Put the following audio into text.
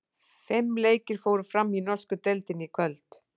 Fimm leikir fóru fram í norsku deildinni í kvöld.